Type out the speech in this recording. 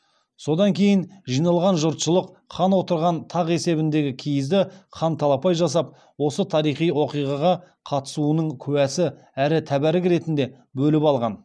содан кейін жиналған жұртшылық хан отырған тақ есебіндегі киізді хан талапай жасап осы тарихи оқиғаға қатысуының куәсі әрі тәбәрік ретінде бөліп алған